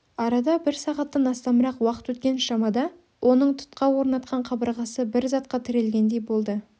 арада бір сағаттан астамырақ уақыт өткен шамада оның тұтқа орнатқан қабырғасы бір затқа тірелгендей болды